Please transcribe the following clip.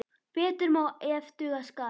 Betur má ef duga skal.